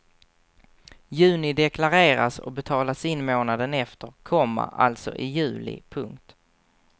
Juni deklareras och betalas in månaden efter, komma alltså i juli. punkt